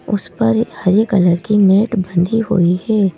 उस पर हरे कलर की नेट बंधी हुई है।